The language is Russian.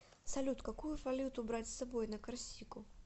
салют какую валюту брать с собой на корсику